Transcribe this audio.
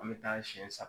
An bɛ taa siyɛn saba